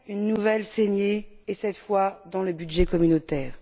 Une nouvelle saignée et cette fois dans le budget communautaire.